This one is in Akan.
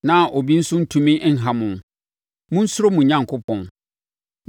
na obi nso ntumi nha mo; monsuro mo Onyankopɔn.